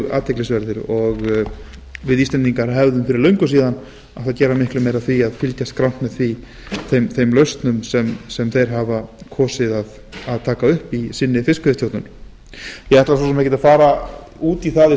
athyglisverðir og við íslendingar hefðum fyrir löngu átt að gera miklu meira af því að fylgjast grannt með þeim lausnum sem þeir hafa kosið að taka upp í fiskveiðistjórn sinni ég ætla svo sem ekkert að fara út í það